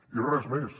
i res més